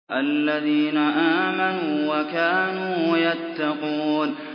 الَّذِينَ آمَنُوا وَكَانُوا يَتَّقُونَ